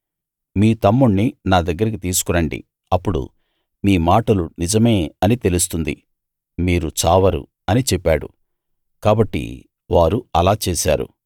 మీ తమ్ముణ్ణి నా దగ్గరికి తీసుకురండి అప్పుడు మీ మాటలు నిజమే అని తెలుస్తుంది మీరు చావరు అని చెప్పాడు కాబట్టి వారు అలా చేశారు